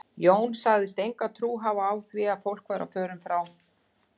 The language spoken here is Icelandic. Jón sagðist enga trú hafa á því að fólk væri á förum frá